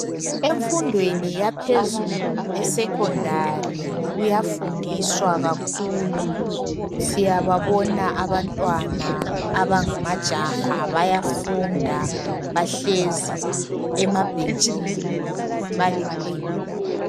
Emfundweni yaphezulu esecondary kuyafundiswa kakhulu, siyababona abantwana abangamajaha bayafunda bahlezi emabhentshini baliqembu.